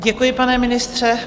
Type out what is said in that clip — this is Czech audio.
Děkuji, pane ministře.